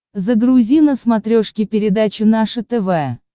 загрузи на смотрешке передачу наше тв